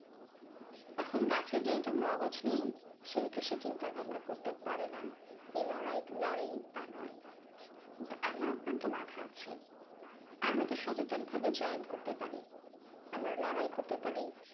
এখন গাছের যেহেতু মগজ নেই সেহেতু সে চিন্তা ভাবনা করতে পারে না এ লড়াই লড়ে তা নয়। কিন্তু আমার আপনার তো মাথা আছে আমরা তো সচেতন ভাবে চয়ন করতে পারি। আমরা লড়াই করতে পারি